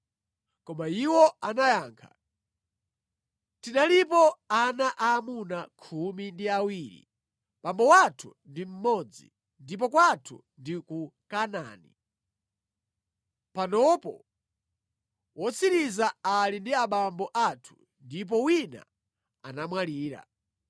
Koma iwo anayankha, “Tinalipo ana aamuna khumi ndi awiri. Abambo athu ndi mmodzi, ndipo kwathu ndi ku Kanaani. Panopo wotsiriza ali ndi abambo athu ndipo wina anamwalira.”